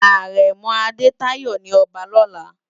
Arèmò Adetayo ni òbá lòlá